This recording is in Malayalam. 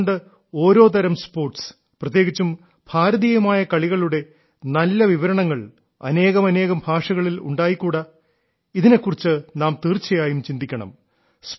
എന്തുകൊണ്ട് ഓരോ തരം സ്പോർട്സ് പ്രത്യേകിച്ചും ഭാരതീയമായ കളികളുടെ നല്ല ദൃക്സാക്ഷി വിവരണം അനേകമനേകം ഭാഷകളിൽ ഉണ്ടായിക്കൂടാ ഇതിനെക്കുറിച്ച് നാം തീർച്ചയായും ചിന്തിക്കണം